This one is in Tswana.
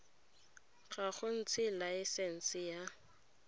ya go ntsha laesense ya